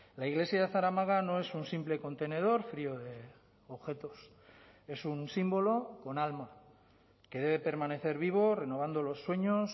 la iglesia de zaramaga no es un simple contenedor frío de objetos es un símbolo con alma que debe permanecer vivo renovando los sueños